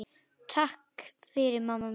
Takk fyrir mamma mín.